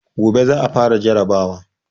Gobe za a fara jarrabawa.